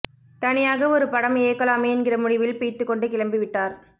தனியாக ஒரு படம் இயக்கலாமே என்கிற முடிவில் பிய்த்துக் கொண்டு கிளம்பிவிட்டார்